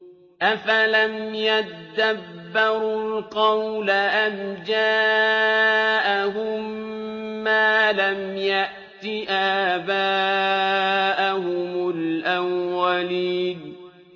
أَفَلَمْ يَدَّبَّرُوا الْقَوْلَ أَمْ جَاءَهُم مَّا لَمْ يَأْتِ آبَاءَهُمُ الْأَوَّلِينَ